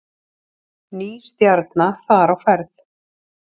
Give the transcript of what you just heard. Ný stjarna þar á ferð